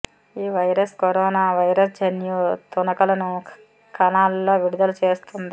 ఈ virus corona virus జన్యు తునకలను కణాల్లో విడుదల చేస్తుంది